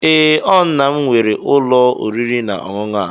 Ee, o nna'm were ulo oriri na onunu a.